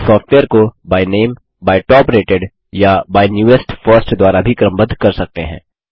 आप सॉफ्यवेयर को by name by top rated या बाय नेवेस्ट फर्स्ट द्वारा भी क्रमबद्ध कर सकते हैं